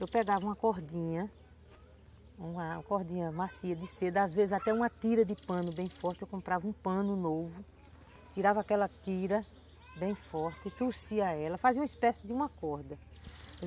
Eu pegava uma cordinha, uma cordinha macia de seda, às vezes até uma tira de pano bem forte, eu comprava um pano novo, tirava aquela tira bem forte, trouxia ela, fazia uma espécie de uma corda.